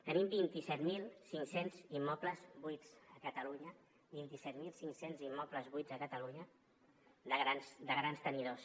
tenim vint set mil cinc cents immobles buits a catalunya vint set mil cinc cents immobles buits a catalunya de grans tenidors